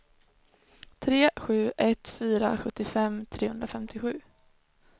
tre sju ett fyra sjuttiofem trehundrafemtiosju